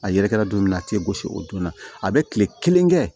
A yɛrɛ kɛra don min na a tɛ gosi o donna a bɛ kile kelen kɛ